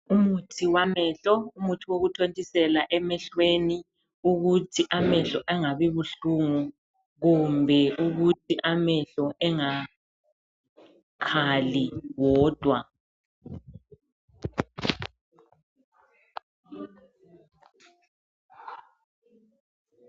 Umuthi wamehlo umuthi wokuthontisela emehlweni ukuthi amehlo angabi buhlungu kumbe ukuthi amehlo engakhali wodwa.